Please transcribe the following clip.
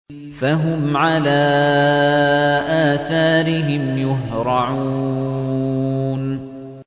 فَهُمْ عَلَىٰ آثَارِهِمْ يُهْرَعُونَ